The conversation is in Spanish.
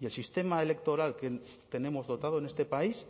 y el sistema electoral que tenemos dotado en este país